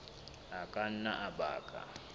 a ka nna a baka